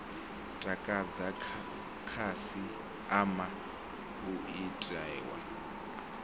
takadza khasi ama u itiwa